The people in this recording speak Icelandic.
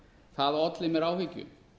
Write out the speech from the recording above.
það olli mér áhyggjum